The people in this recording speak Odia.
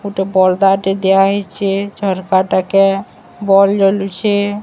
ଗୋଟେ ପରଦାଟେ ଦିଆହେଇଛି ଝରକାଟାକେ ବଲ୍ ଜଳୁଛି।